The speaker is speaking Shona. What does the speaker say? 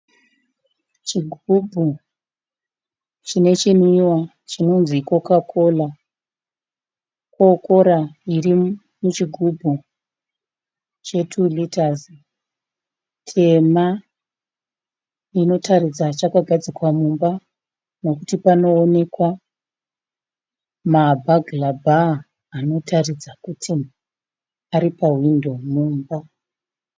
Chigubhu chine chinwiwa chinonzi Coca Cola. Coca Cola iri muchigubhu che2 rita tema inotaridza chakagadzikwa mumba nekuti panoonekwa mabhagira bhaa anotaridza kuti ari pahwindo mumba.